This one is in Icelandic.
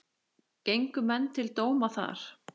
Gengu menn til dóma þar.